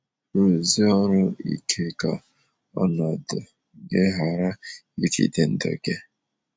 Rụọsi ọrụ ike ka ọnọdụ gị ghara ijide ndụ gị.